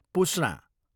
पुस्ना